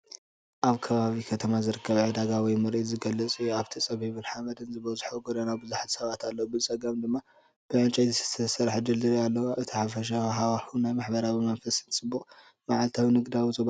ኣብ ከባቢ ከተማ ዝርከብ ዕዳጋ ወይ ምርኢት ዝገልጽ እዩ። ኣብቲ ጸቢብን ሓመድ ዝበዝሖን ጎደና ብዙሓት ሰባት ኣለዉ፡ ብጸጋም ድማ ብዕንጨይቲ ዝተሰርሐ ድልድል እግሪ ኣሎ። እቲ ሓፈሻዊ ሃዋህው ናይ ማሕበረሰባዊ መንፈስን ጽዑቕን መዓልታዊ ንግዳዊ ዞባ እዩ።